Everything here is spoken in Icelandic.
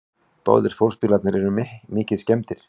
Báðir fólksbílarnir eru mikið skemmdir